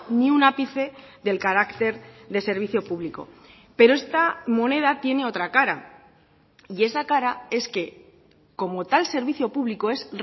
ni un ápice del carácter de servicio público pero esta moneda tiene otra cara y esa cara es que como tal servicio público es